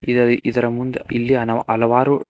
ಇದರ ಇದರ ಮುಂದೆ ಇಲ್ಲಿ ಹಲವಾರು--